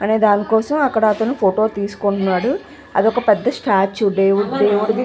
అనే దాని కోసం అక్కడ అతను ఫోటో తీసుకుంటున్నాడు ఆది ఒక పెద్ద స్తతుఎ దేవుడుది --